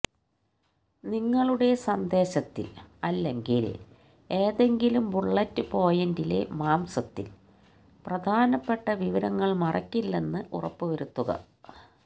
നിങ്ങളുടെ സന്ദേശത്തിൽ അല്ലെങ്കിൽ ഏതെങ്കിലും ബുള്ളറ്റ് പോയിന്റിലെ മാംസത്തിൽ പ്രധാനപ്പെട്ട വിവരങ്ങൾ മറയ്ക്കില്ലെന്ന് ഉറപ്പുവരുത്തുക